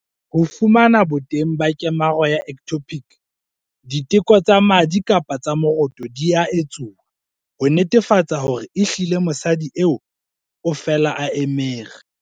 Ho fumana boteng ba kemaro ya ectopic, diteko tsa madi kapa tsa moroto di a etsuwa ho netefatsa hore ehlile mosadi eo o fela a emere.